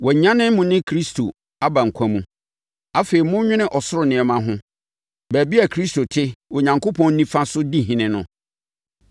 Wɔanyane mo ne Kristo aba nkwa mu. Afei monnwene ɔsoro nneɛma ho, baabi a Kristo te Onyankopɔn nifa so di ɔhene no.